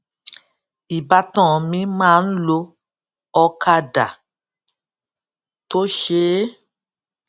ìbátan mi máa ń lo ọkadà tó ṣeé